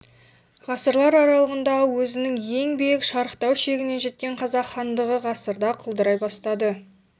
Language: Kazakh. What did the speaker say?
ғасырлар аралығында өзінің ең биік шарықтау шегіне жеткен қазақ хандығы ғасырда құлдырай бастады